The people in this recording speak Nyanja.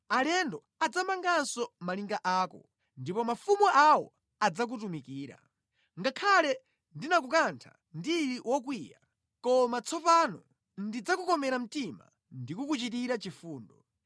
“Alendo adzamanganso malinga ako, ndipo mafumu awo adzakutumikira. Ngakhale ndinakukantha ndili wokwiya, koma tsopano ndidzakukomera mtima ndikukuchitira chifundo.